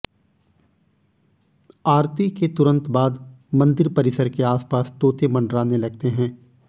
आरती के तुरंत बाद मंदिर परिसर के आसपास तोते मँडराने लगते हैं